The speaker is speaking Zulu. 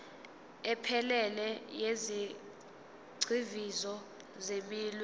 ephelele yezigxivizo zeminwe